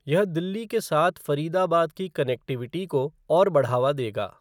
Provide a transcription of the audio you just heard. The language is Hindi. यह दिल्ली के साथ फ़रीदाबाद की कनेक्टिविटी को और बढ़ावा देगा।